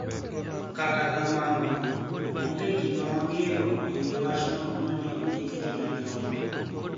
Kata kamano, onige gima wanig'eyo e wi wachno mani e onidiki gi migao no